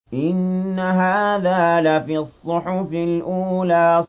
إِنَّ هَٰذَا لَفِي الصُّحُفِ الْأُولَىٰ